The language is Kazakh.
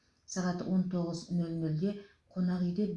сағат он тоғыз нөл нөлде қонақ үйде